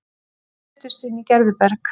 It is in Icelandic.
Brutust inn í Gerðuberg